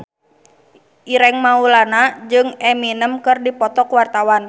Ireng Maulana jeung Eminem keur dipoto ku wartawan